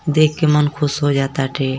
देख के मन खुश हो जाता है।